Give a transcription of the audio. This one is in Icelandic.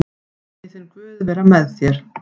Megi þinn guð vera með þér.